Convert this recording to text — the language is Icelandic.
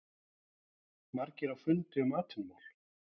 Margir á fundi um atvinnumál